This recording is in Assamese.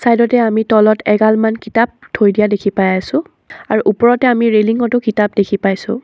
চাইডতে আমি তলত এগালমান কিতাপ থৈ দিয়া দেখি পাই আছোঁ আৰু ওপৰতে আমি ৰেলিঙটো কিতাপ দেখি পাইছোঁ।